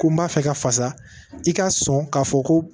Ko n b'a fɛ ka fasa i ka sɔn k'a fɔ ko